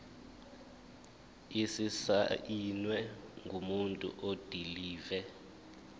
esisayinwe ngumuntu odilive